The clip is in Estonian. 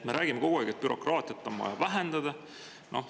Me räägime kogu aeg, et bürokraatiat on vaja vähendada.